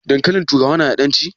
Dankalin turawa na da ƙan ci?